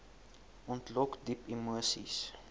ontlok diep emoseis